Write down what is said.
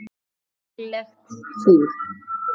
Líklegt fúl.